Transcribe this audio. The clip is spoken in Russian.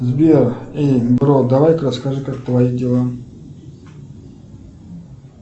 сбер эй бро давай ка расскажи как твои дела